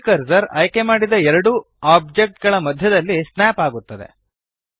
3ದ್ ಕರ್ಸರ್ ಆಯ್ಕೆಮಾಡಿದ ಎರಡೂ ಓಬ್ಜೆಕ್ಟ್ ಗಳ ಮಧ್ಯದಲ್ಲಿ ಸ್ನ್ಯಾಪ್ ಆಗುತ್ತದೆ